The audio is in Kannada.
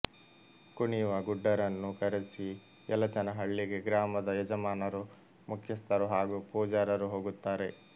ಕುಣಿಯುವ ಗುಡ್ಡರನ್ನು ಕರೆಸಿ ಯಲಚನಹಳ್ಳಿಗೆ ಗ್ರಾಮದ ಯಜಮಾನರು ಮುಖ್ಯಸ್ಥರು ಹಾಗೂ ಪೂಜಾರರು ಹೋಗುತ್ತಾರೆ